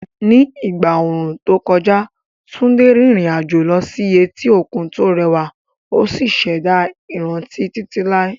Ní ìgbà ooru tó kọjá, Tunde rìnrìn àjò lọ sí etí òkun tó rẹwà ó sì ṣẹ̀dá ìrántí títí láé.